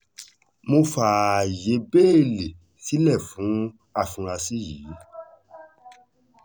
mo fààyè bẹ́ẹ́lí sílẹ̀ fún àfúráṣí yìí